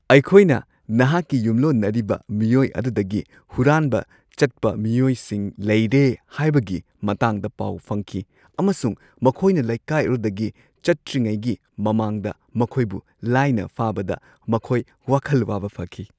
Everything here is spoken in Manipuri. ꯑꯩꯈꯣꯏꯅ ꯅꯍꯥꯛꯀꯤ ꯌꯨꯝꯂꯣꯟꯅꯔꯤꯕ ꯃꯤꯑꯣꯏ ꯑꯗꯨꯗꯒꯤ ꯍꯨꯔꯥꯟꯕ ꯆꯠꯄ ꯃꯤꯑꯣꯏꯁꯤꯡ ꯂꯩꯔꯦ ꯍꯥꯏꯕꯒꯤ ꯃꯇꯥꯡꯗ ꯄꯥꯎ ꯐꯪꯈꯤ ꯑꯃꯁꯨꯡ ꯃꯈꯣꯏꯅ ꯂꯩꯀꯥꯏ ꯑꯗꯨꯗꯒꯤ ꯆꯠꯇ꯭ꯔꯤꯉꯩꯒꯤ ꯃꯃꯥꯡꯗ ꯃꯈꯣꯏꯕꯨ ꯂꯥꯏꯅ ꯐꯥꯕꯗ ꯃꯈꯣꯏ ꯋꯥꯈꯜ ꯋꯥꯕ ꯐꯈꯤ ꯫ (ꯄꯨꯂꯤꯁ)